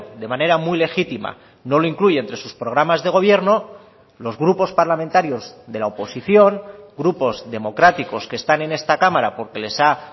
de manera muy legítima no lo incluye entre sus programas de gobierno los grupos parlamentarios de la oposición grupos democráticos que están en esta cámara porque les ha